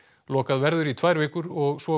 lokað verður í tvær vikur og svo